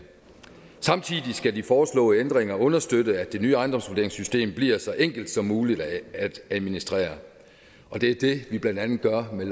samtidig skal de foreslåede ændringer understøtte at det nye ejendomsvurderingssystem bliver så enkelt som muligt at administrere og det er det vi blandt andet gør med